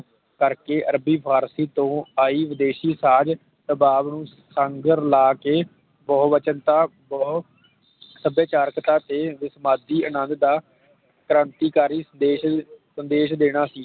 ਕਰਕੇ ਅਰਬੀ ਫਾਰਸੀ ਤੋਂ ਆਈ ਵਿਦੇਸ਼ੀ ਸਾਜ ਸਭਾਵ ਨੂੰ ਸੰਗਰ ਲਾ ਕੇ ਬਹੋਬਚਨਤਾ ਬਹੋ ਸੱਭਿਆਚਾਰਕਤਾ ਦੇ ਉਤਪਾਦੀ ਅਨੰਦ ਦਾ ਕ੍ਰਾਂਤੀਕਾਰੀ ਸੰਦੇਸ਼ ਸੰਦੇਸ਼ ਦੇਣਾ